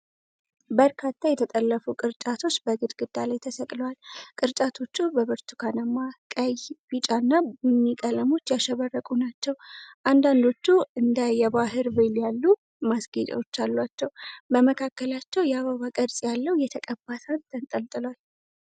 በርካታ የተጠለፉ ቅርጫቶች በግድግዳ ላይ ተሰቅለዋል። ቅርጫቶቹ በብርቱካናማ፣ ቀይ፣ ቢጫ እና ቡኒ ቀለሞች ያሸበረቁ ናቸው። አንዳንዶቹ እንደ የባሕር ሼል ያሉ ማስጌጫዎች አሏቸው። በመካከላቸው የአበባ ቅርጽ ያለው የተቀባ ሳህን ተንጠልጥሏል።